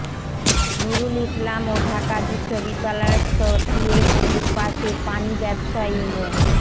নুরুল ইসলাম ও ঢাকা বিশ্ববিদ্যালয়স্থ টিএসসির পাশের পানি ব্যবসায়ী মো